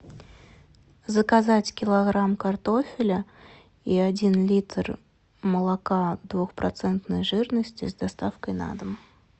заказать килограмм картофеля и один литр молока двухпроцентной жирности с доставкой на дом